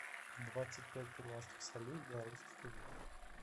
двадцать пять перуанских солей в белорусских рублях